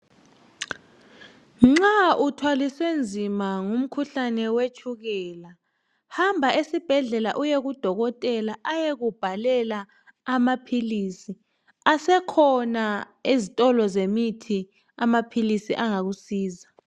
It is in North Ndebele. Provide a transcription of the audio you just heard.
Nxa uthwaliswe nzima ngumkhuhlane wetshukela hamba esibhedlela uyekudokotela ayekubhalela amaphilisi asekhona ezitolo zemithi amaphilisi angakusiza.